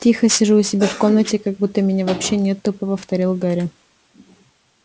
тихо сижу у себя в комнате как будто меня вообще нет тупо повторил гарри